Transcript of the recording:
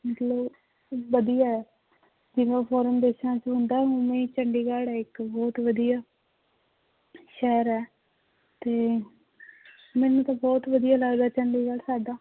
ਮਤਲਬ ਵਧੀਆ ਹੈ ਜਿਵੇਂ foreign ਦੇਸਾਂ ਚ ਹੁੰਦਾ ਹੈ ਉਵੇਂ ਹੀ ਚੰਡੀਗੜ੍ਹ ਹੈ ਇੱਕ ਬਹੁਤ ਵਧੀਆ ਸ਼ਹਿਰ ਹੈ ਤੇ ਮੈਨੂੰ ਤਾਂ ਬਹੁਤ ਵਧੀਆ ਲੱਗਦਾ ਚੰਡੀਗੜ੍ਹ ਸਾਡਾ